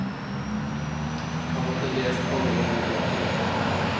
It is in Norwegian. Han hadde lest alle mine bøker.